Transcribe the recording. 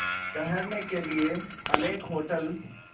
ठहरने के लिए अनेक होटल